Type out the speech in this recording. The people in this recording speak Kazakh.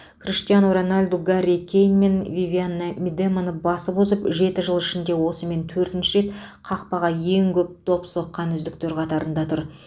криштиану роналду гарри кейн мен вивианна мидеманы басып озып жеті жыл ішінде осымен төртінші рет қақпаға ең көп доп соққан үздіктер қатарында тұр